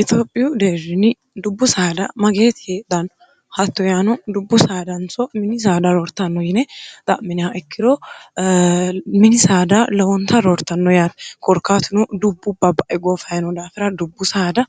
itiophiyu deerjini dubbu saada mageeti heedhanno hatto yaano dubbu saadanso mini saada roortanno yine xa'miniha ikkiro mini saada lowonta roortanno yaati korkaatino dubbu babbae goofayino daafira dubbu saada